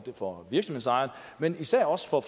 for virksomhedsejerne men især også for